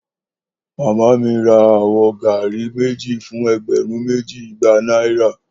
Mama mi ra awọ garri meji fun ẹgbẹrun meji igba Naira